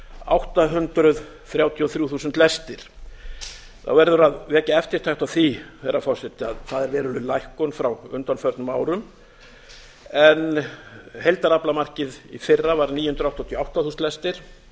átta hundruð þrjátíu og þrjú þúsund lestir þá verður að vekja eftirtekt á því herra forseti að það er veruleg lækkun frá undanförnum árum en heildaraflamarkið í fyrra var níu hundruð áttatíu og átta þúsund lestir